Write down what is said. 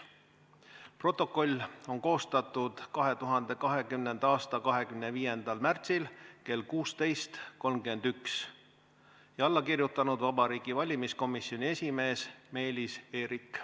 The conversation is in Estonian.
" Protokoll on koostatud 2020. aasta 25. märtsil kell 16.31, alla on kirjutanud Vabariigi Valimiskomisjoni esimees Meelis Eerik.